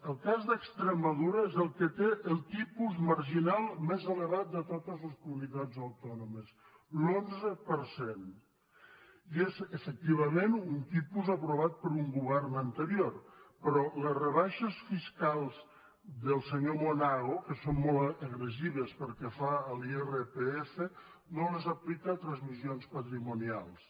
el cas d’extremadura és el que té el tipus marginal més elevat de totes les comunitats autònomes l’onze per cent i és efectivament un tipus aprovat per un govern anterior però les rebaixes fiscals del senyor monago que són molt agressives pel que fa a l’irpf no les aplica a transmissions patrimonials